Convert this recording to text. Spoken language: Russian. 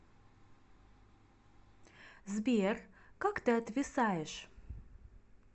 сбер как ты отвисаешь